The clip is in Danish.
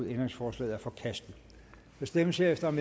ændringsforslaget er forkastet der stemmes herefter om